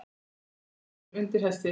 Gangur undir hesti.